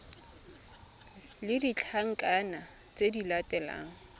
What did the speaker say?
le ditlankana tse di latelang